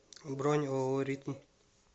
бронь ооо ритм